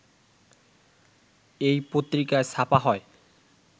এই পত্রিকায় ছাপা হয়